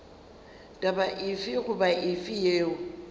taba efe goba efe yeo